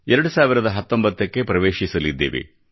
2019 ಕ್ಕೆ ಪ್ರವೇಶಿಸಲಿದ್ದೇವೆ